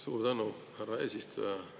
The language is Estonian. Suur tänu, härra eesistuja!